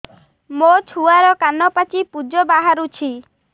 ମୋ ଛୁଆର କାନ ପାଚି ପୁଜ ବାହାରୁଛି